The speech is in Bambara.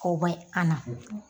O bɛ an na.